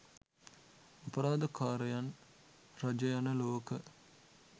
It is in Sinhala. අපරාධකාරයන් රජයන ලොවක